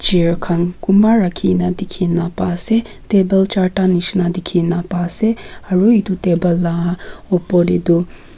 chair khan khonba rakhikena dekhikena ba ase table charda nishena dekhi ase aro etu table upor te toh.